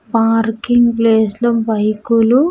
Parking place లో bike లు.